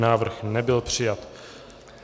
Návrh nebyl přijat.